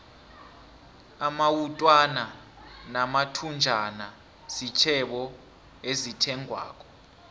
amawutwana namathunjana sitjhebo esithengwako